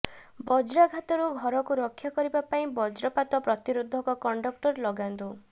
ବଜ୍ରାଘାତରୁ ଘରକୁ ରକ୍ଷା କରିବା ପାଇଁ ବଜ୍ରପାତ ପ୍ରତିରୋଧକ କଣ୍ଡକ୍ଟର ଲଗାନ୍ତୁ